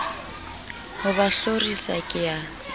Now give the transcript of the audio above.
ho ba hlorisa ke a